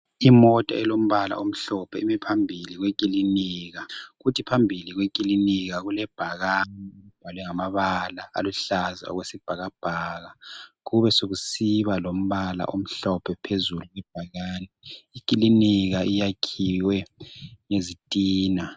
Imota elombala omhlophe imi phambili kwekilinika. Kuthi phambili kwekilinika kulebhakane elibhalwe ngamabala aluhlaza okwesibhakabhaka kube sekusiba lombala omhlophe phezulu kwebhakane. Ikilinika yakhiwe ngezitina.